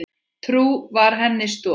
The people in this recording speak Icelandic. Trú var henni stoð.